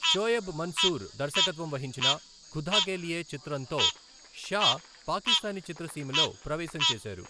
షోయబ్ మన్సూర్ దర్శకత్వం వహించిన 'ఖుదా కే లియే ' చిత్రంతో షా పాకిస్తానీ చిత్రసీమలో ప్రవేశం చేశారు.